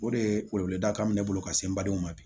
O de ye wele wele da kan bɛ ne bolo ka se n badenw ma bi